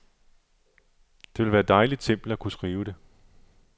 Det ville være dejligt simpelt at kunne skrive det.